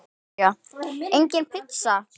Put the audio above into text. Soffía: Engin pizza.